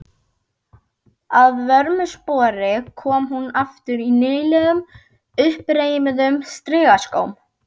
Að vörmu spori kom hún aftur í nýlegum, uppreimuðum strigaskóm.